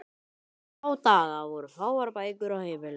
Í þá daga voru fáar bækur á heimilum.